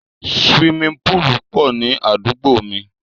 Siwimi púùlù pọ̀ ní àdúgbò mi.